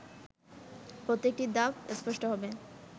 প্রত্যেকটি ধাপ স্পষ্ট হবে